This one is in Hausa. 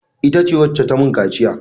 Ita ce wacce ta mun kaciya.